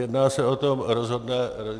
Jedná se o to rozhodné datum.